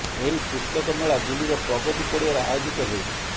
ଏହି ପୁସ୍ତକ ମେଳା ଦିଲ୍ଲୀର ପ୍ରଗତି ପଡ଼ିଆରେ ଆୟୋଜିତ ହେଉଛି